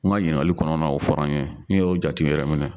kuma ɲiningali kɔnɔna o fɔra n yeyɛ jatew